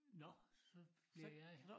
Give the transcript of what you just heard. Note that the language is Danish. Nå så bliver jeg